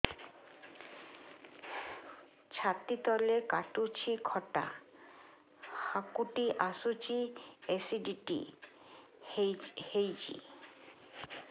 ଛାତି ତଳେ କାଟୁଚି ଖଟା ହାକୁଟି ଆସୁଚି ଏସିଡିଟି ହେଇଚି